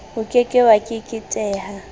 o ke ke wa keketeha